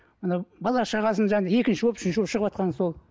анау бала шағасын және екінші болып үшінші болып шығыватқаны сол